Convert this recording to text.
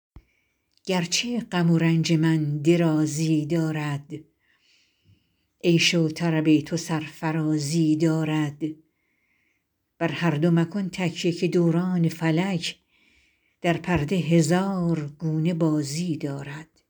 گرچه غم و رنج من درازی دارد عیش و طرب تو سرفرازی دارد بر هر دو مکن تکیه که دوران فلک در پرده هزار گونه بازی دارد